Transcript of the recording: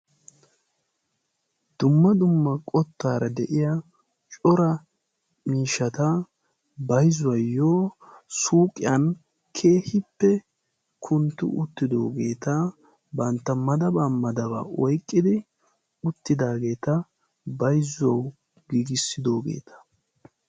Dumma dumma qottaara de'iya cora miishata bayzuwaayyo suuqiyan keehippe kuntti uttidoogeeta bantta madabaa madabaa oiqqidi uttidaageeta baizzuwau giigissidoogeeta.